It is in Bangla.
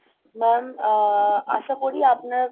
Mam, আশা করি আপনার